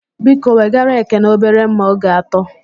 Biko wegara Ekene obere mma oge atọ